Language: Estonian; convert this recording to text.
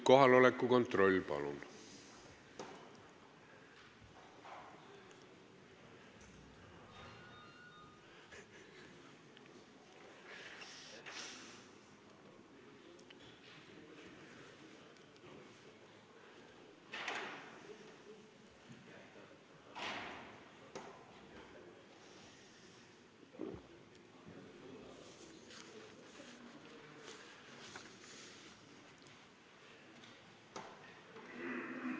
Kohaloleku kontroll, palun!